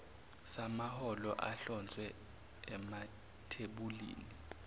samaholo ahlonzwe emathebulini